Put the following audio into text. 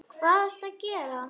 Hvað ertu að gera?